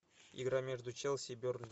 игра между челси и бернли